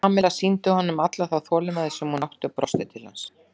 Kamilla sýndi honum alla þá þolinmæði sem hún átti og brosti til hans.